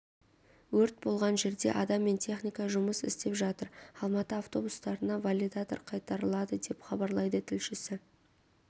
өрт болған жерде адам мен техника жұмыс істеп жатыр алматы автобустарына валидатор қайтарылады деп хабарлайды тілшісі